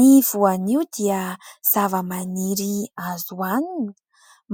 Ny voanio dia zava-maniry azo hoanina,